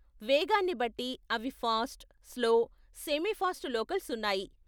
వేగాన్ని బట్టి అవి fast, slow, semi fast locals ఉన్నాయి.